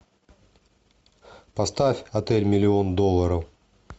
поставь отель миллион долларов